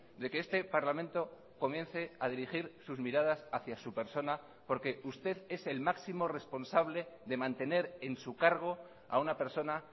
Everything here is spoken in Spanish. de que este parlamento comience a dirigir sus miradas hacia su persona porque usted es el máximo responsable de mantener en su cargo a una persona